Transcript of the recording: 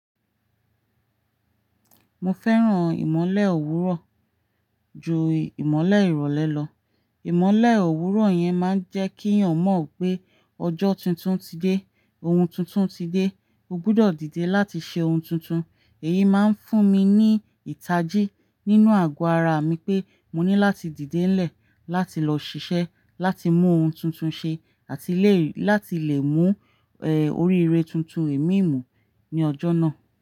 Mo fẹ́ràn ìmọ́lẹ̀ òwúrọ̀ ju ìmọ́lẹ̀ ìrọ̀lẹ́ lọ. Ìmọ́lẹ̀ òwúrọ̀ yẹn máa ń jẹ́ kí òn mọ̀ pé ọjọ́ tuntun ti dé, ohun tuntun ti dé, ó gbúdọ̀ dìde láti ṣe ohun tuntun. Èyí máa ń fún mi ní ìtajì nínú àgò ara mi pé mo ní láti dìde ńlẹ̀ láti lọ ṣiṣẹ́, láti mú ohun tuntun ṣe àti láti lè mú, eh, oríire tuntun èmi mú ní ọjọ́ náà.